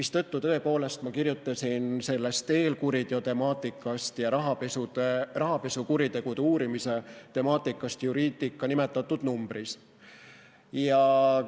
Seetõttu tõepoolest ma kirjutasin sellest eelkuriteo temaatikast ja rahapesukuritegude uurimise temaatikast Juridica nimetatud numbris.